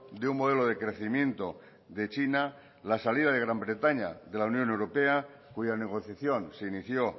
de un modelo de crecimiento de china la salida de gran bretaña de la unión europea cuya negociación se inició